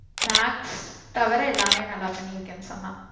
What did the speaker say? Maths தவற எல்லாமே நல்ல பண்ணிருக்கேன் சொன்னா